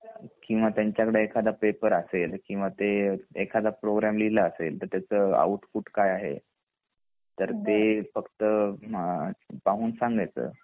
किंवा त्यांचकडे एखादा पेपर असेल किंवा ते एखादा प्रोग्राम लिहल असेल तर तत्याचं आउटपुट काय आहे तर ते फक्त पाहून संगायच